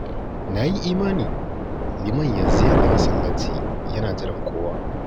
Na yi imani Liman yanzu yana masallaci yana jiran kowa